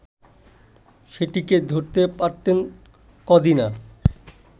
সেটিকে ধরতে পারতেন কদিনা